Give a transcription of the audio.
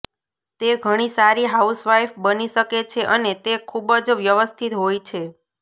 તે ઘણી સારી હાઉસવાઈફ બની શકે છે અને તે ખૂબ જ વ્યવસ્થિત હોય છે